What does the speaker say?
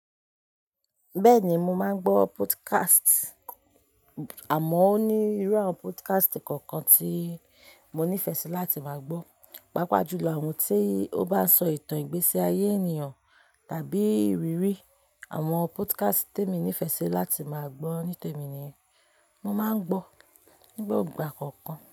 Bẹ́ẹ̀ni, mo máa ń gbọ́ podcast, àmọ́ ó ní irú àwọn podcast kọ̀ọ̀kan tí mo nífẹ̀ẹ́ sí láti máa gbọ́, pàápàá jù lọ àwọn tí ó bá sọ ìtàn ìgbésí ayé ènìyàn tàbí ìrírí. Àwọn podcast tí emi nífẹ̀ẹ́ sí láti máa gbọ́ nítemi niyen mo máa ń gbọ́ nígbogbà kọ̀ọ̀kan.